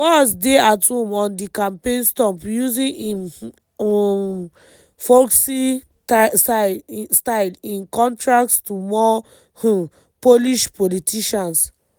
walz dey at home on di campaign stump using im um folksy style in contrast to more um polished politicians.